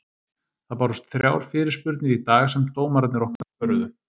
Það bárust þrjár fyrirspurnir í dag sem dómararnir okkar svöruðu.